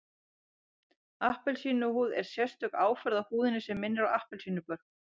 Appelsínuhúð er sérstök áferð á húðinni sem minnir á appelsínubörk